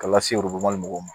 K'a lase mɔgɔw ma